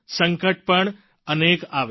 સંકટ પણ અનેક આવ્યા